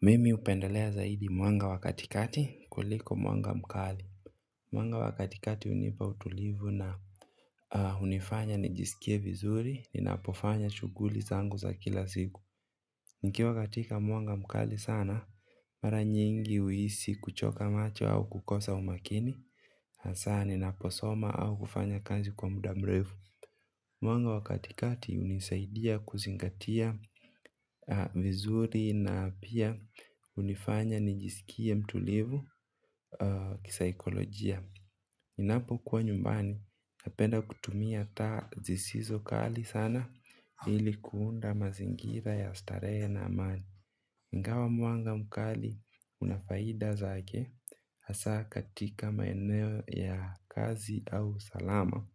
Mimi upendelea zaidi mwanga wakatikati kuliko mwanga mkali. Mwanga wakatikati unipa utulivu na unifanya nijisikie vizuri ni napofanya chuguli zangu za kila siku. Niki wakatika mwanga mkali sana, mara nyingi uisi kuchoka macho au kukosa umakini. Asa ninaposoma au kufanya kazi kwa mudamrevu. Mwanga wakatikati unisaidia kuzingatia vizuri na pia unifanya nijisikie mtulivu kisaikolojia. Inapo kuwa nyumbani, napenda kutumia ta zisizo kali sana ilikuunda mazingira ya stare na amani. Ingawa mwanga mkali unafaida za ake, hasa katika maeneo ya kazi au salama.